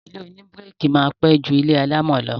Ilé oníbíríkì máa pẹ́ ju ilé alámọ̀ lọ